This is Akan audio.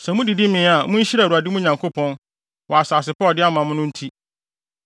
Sɛ mudidi mee a, munhyira Awurade, mo Nyankopɔn, wɔ asase pa a ɔde ama mo no nti.